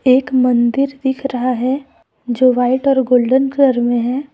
एक मंदिर दिख रहा है जो व्हाइट और गोल्डन कलर में है।